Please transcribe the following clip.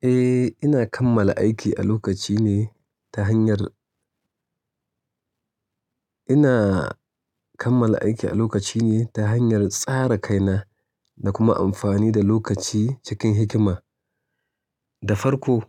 Eh, ina kammala aiki a lokaci ne ta hanyar-- ina kammal aiki a lokaci ne ta hanyar tsara kaina da kuma amfani da lokaci cikin hikima. Da farko,